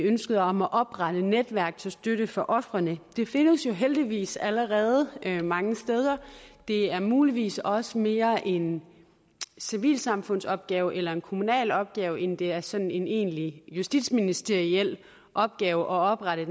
ønsket om at oprette netværk til støtte for ofrene det findes jo heldigvis allerede mange steder det er muligvis også mere en civilsamfundsopgave eller en kommunal opgave end det er sådan en egentlig justitsministeriel opgave at oprette